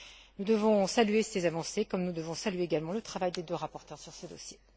Nous devons saluer ces avancées, comme nous devons saluer également le travail des deux rapporteures sur ce dossier.